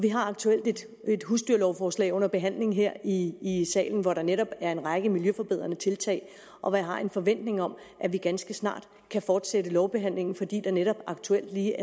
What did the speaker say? vi har aktuelt et husdyrlovforslag under behandling her i i salen hvori der netop er en række miljøforbedrende tiltag og hvor jeg har en forventning om at vi ganske snart kan fortsætte lovbehandlingen fordi der netop aktuelt lige